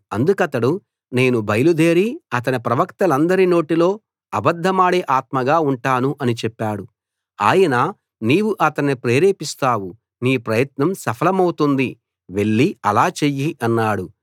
అందుకతడు నేను బయలుదేరి అతని ప్రవక్తలందరి నోటిలో అబద్ధమాడే ఆత్మగా ఉంటాను అని చెప్పాడు ఆయన నీవు అతన్ని ప్రేరేపిస్తావు నీ ప్రయత్నం సఫలమవుతుంది వెళ్లి అలా చెయ్యి అన్నాడు